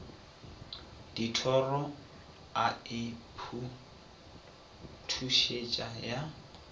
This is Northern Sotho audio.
dithoro a e phuthusetša ya